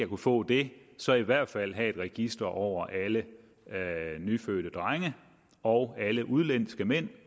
kunne få det så i hvert fald have et register over alle nyfødte drenge og alle udenlandske mænd